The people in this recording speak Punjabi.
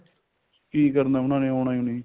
ਕੀ ਕਰਨਾ ਉਹਨਾ ਨੇ ਆਉਣਾ ਹੀ ਨੀ